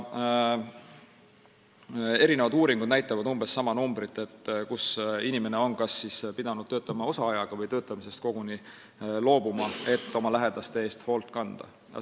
Erinevad uuringud näitavad umbes sama arvu, kui palju on neid inimesi, kes on kas pidanud töötama osaajaga või töötamisest koguni loobuma, et oma lähedaste eest hoolt kanda.